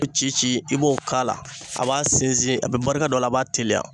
Ci ci i b'o k'a la , a b'a sinsin , a bɛ barika don a la, a b'a teliya.